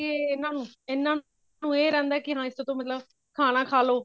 ਕਿ ਇਹ ਨਾ ਇਹਨਾ ਨੂੰ ਇਹ ਰਹਿੰਦਾ ਕਿ ਹਾਂ ਇਸ ਤੋਂ ਤਾਂ ਮਤਲਬ ਖਾਣਾ ਖਾ ਲੋ